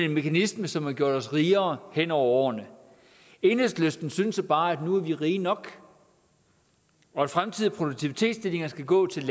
en mekanisme som har gjort os rigere hen over årene enhedslisten synes jo bare at nu er vi rige nok og at fremtidige produktivitetsstigninger skal gå til